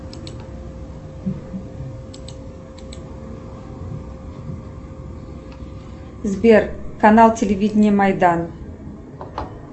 сбер канал телевидения майдан